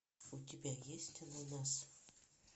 у тебя есть ананас